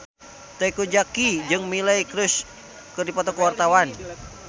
Teuku Zacky jeung Miley Cyrus keur dipoto ku wartawan